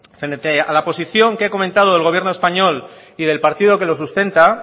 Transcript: frente a la posición que he comentado del gobierno español y del partido que lo sustenta